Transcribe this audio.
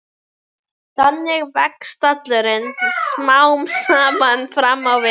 Þannig vex stallurinn smám saman fram á við.